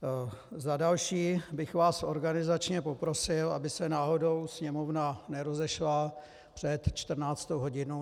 Za další bych vás organizačně poprosil, aby se náhodou Sněmovna nerozešla před 14. hodinou.